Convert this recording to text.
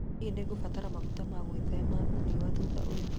Hihi nĩ ngũkũbatara maguta ma gwĩthema riũa thutha ũyu